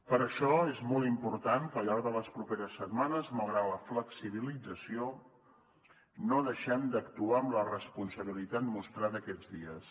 per això és molt important que al llarg de les properes setmanes malgrat la flexibilització no deixem d’actuar amb la responsabilitat mostrada aquests dies